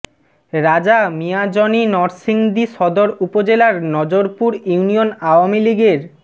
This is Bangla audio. রাজা মিয়া জনি নরসিংদী সদর উপজেলার নজরপুর ইউনিয়ন আওয়ামী লীগের